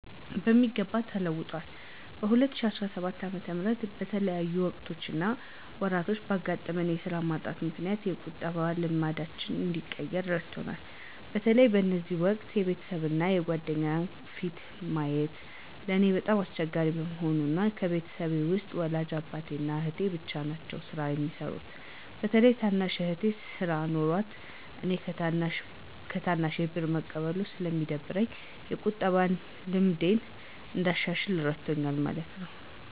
በሚገባ ተለውጠዋል። በ2017 ዓ/ም በተለያዩ ወቅቶች እና ወራቶች ባጋጠመኝ የስራ ማጣት ምክንያት የቁጠባ ልማዴን እንድቀይር እረድቶኛል። በተለይ በዚህ ወቅት የቤተሰብ እና የጓደኛ ፊትን ማየት ለእኔ በጣም አስቸጋሪ በመሆኑ እና ከቤተሰቤ ውስጥ ወላጅ አባቴ እና አህቴ ብቻ ናቸው ስራ የሚሰሩት። በተለይም ታናሽ እህቴ ስራ ኖሯት እኔ ከታናሼ ብር መቀበሉ ስለደበረኝ የቁጠባን ልምዴን እንዳሻሽል እረድቶኛል ማለት ነው።